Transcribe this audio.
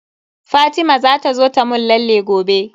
Fatima za ta zo ta mun lalle gobe.